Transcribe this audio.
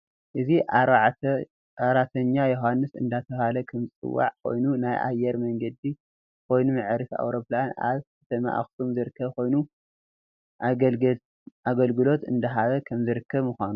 እዚ 4ተኛ ዮሃንስ እደተበሃለ ከም ዝፅዋዕ ኮይኑ ናይ ኣየር መንገድ ኮይኑ መዕረፊ ኣውሮፕላን ኣብ ከተማ ኣክሱም ዝርከብ ኮይኑ ኣገልግሎት እደሃበ ከም ዝርከብ ምዃኑ